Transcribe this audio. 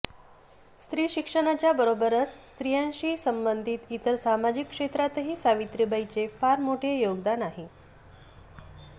स्त्रीशिक्षणाच्या बरोबरच स्त्रियांशी संबंधित इतर सामाजिक क्षेत्रातही सावित्रीबाईंचे फार मोठे योगदान आहे